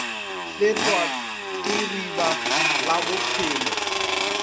fetwa ke riba la bophelo